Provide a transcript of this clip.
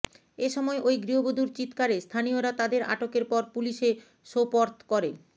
এ সময় ওই গৃহবধূর চিৎকারে স্থানীয়রা তাদের আটকের পর পুলিশে সোপর্দ করে